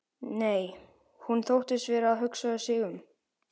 Nei, hún þóttist vera að hugsa sig um.